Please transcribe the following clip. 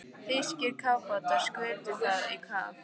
Þýskir kafbátar skutu það í kaf.